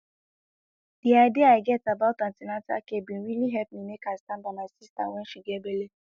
the idea i get about an ten atal care bin really help me make i stand by my sister when she get belle